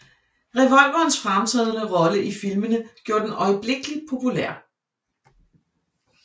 Revolverens fremtrædende rolle i filmene gjorde den øjeblikkeligt populær